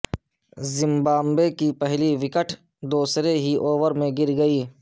Zimbabwe کی پہلی wicket دوسرے ہی اوور میں گر گئی